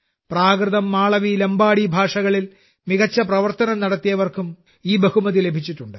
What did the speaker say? പ്രാകൃതം മാളവി ലംബാഡി ഭാഷകളിൽ മികച്ച പ്രവർത്തനം നടത്തിയവർക്കും ഈ ബഹുമതി ലഭിച്ചിട്ടുണ്ട്